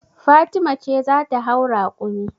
Fatima ce za ta hau rakumi.